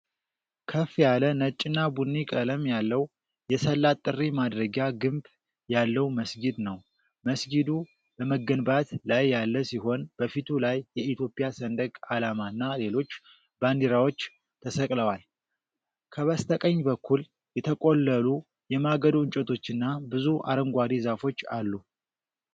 ከፍ ያለ ነጭና ቡኒ ቀለም ያለው የሰላት ጥሪ ማድረጊያ ግንብ ያለው መስጊድ ነው። መስጊዱ በመገንባት ላይ ያለ ሲሆን፣ በፊቱ ላይ የኢትዮጵያ ሰንደቅ ዓላማና ሌሎች ባንዲራዎች ተሰቅለዋል። ከበስተቀኝ በኩል፣ የተቆለሉ የማገዶ እንጨቶችና ብዙ አረንጓዴ ዛፎች አሉ።